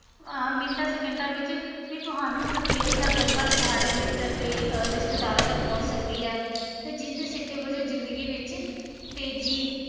ਮਿੰਟਾ ਸ੍ਕਿਨਤਾ ਵਾਤ੍ਚ ਤੋਹੋਨੋ ਸੰਦਪ ਦਾ ਗਲਬਾ ਤੋਹੋੜਆ ਮਿਸ਼ਰ ਦਾ ਤਕ ਪੋੰਛ ਸਕਦੀ ਆ ਤਾ ਜਿੰਦਾ ਸੀਤਾ ਬਾਰਾ ਜਿੰਦਗੀ ਵਾਤ੍ਚ ਤਾਜੀ ਆ